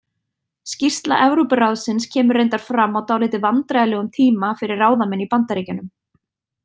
Skýrsla Evrópuráðsins kemur reyndar fram á dálítið vandræðalegum tíma fyrir ráðamenn í Bandaríkjunum.